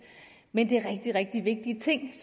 men det er rigtig vigtige ting